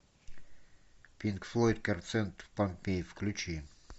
пинк флойд концерт в помпеи включи